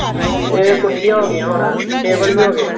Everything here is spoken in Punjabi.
ਏਹ ਕੁਰਸੀਆ ਹੋਂਗੀਆਂ ਹੁਣ table ਵੀ ਹੋਗੇ